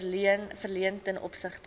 verleen ten opsigte